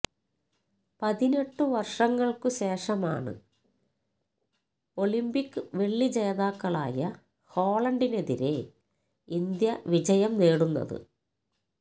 പതിനെട്ടു വർഷങ്ങൾക്ക് ശേഷമാണ് ഒളിന്പിക് വെള്ളി ജേതാക്കളായ ഹോളണ്ടിനെതിരെ ഇന്ത്യ വിജയം നേടുന്നത്